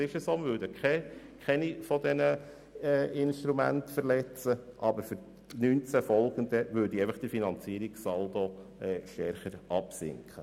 Wir würden also keine Instrumente verletzen, aber für die Jahre 2019 und folgende würde der Finanzierungssaldo stärker absinken.